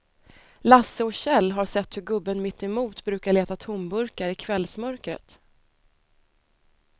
Lasse och Kjell har sett hur gubben mittemot brukar leta tomburkar i kvällsmörkret.